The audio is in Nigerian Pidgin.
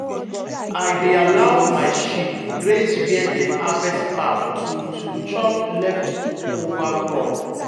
i dey allow my sheep graze where dem harvest farm to to chop leftover crop.